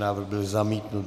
Návrh byl zamítnut.